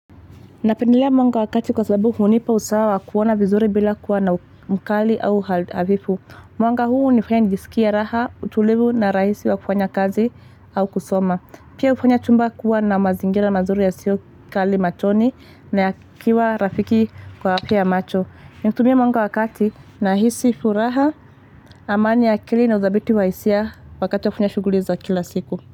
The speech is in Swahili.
Napendelea mwanga wakati kwa sababu hunipa usawa kuona vizuri bila kuwa na mkali au havifu. Mwanga huu unifanya nijisikia raha, utulivu na rahisi wa kufanya kazi au kusoma. Pia ufanya chumba kuwa na mazingira mazuri ya siokali machoni na ya kiwa rafiki kwa afya ya macho. Ninatumia mwanga wakati na hisi furaha, amani akili na udhabiti wa hisia wakati wa kufanya shuguliza kila siku.